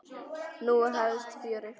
Nú hefst fjörið, maður.